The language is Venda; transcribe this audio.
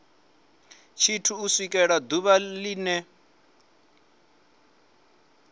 tshithu u swikela ḓuvha line